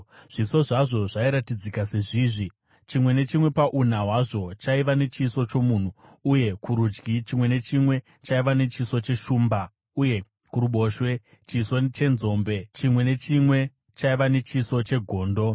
Zviso zvazvo zvairatidzika sezvizvi: chimwe nechimwe pauna hwazvo chaiva nechiso chomunhu, uye kurudyi, chimwe nechimwe chaiva nechiso cheshumba, uye kuruboshwe, chiso chenzombe; chimwe nechimwe chaiva nechiso chegondo.